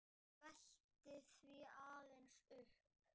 Ég velti því aðeins upp.